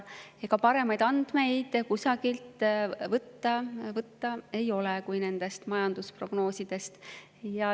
Ega paremaid andmeid kusagilt võtta ei ole kui nendest majandusprognoosidest.